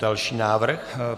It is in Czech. Další návrh.